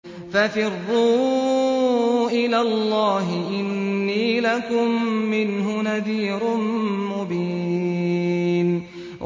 فَفِرُّوا إِلَى اللَّهِ ۖ إِنِّي لَكُم مِّنْهُ نَذِيرٌ مُّبِينٌ